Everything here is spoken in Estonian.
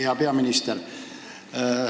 Hea peaminister!